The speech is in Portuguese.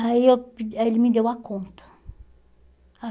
Aí eu aí ele me deu a conta.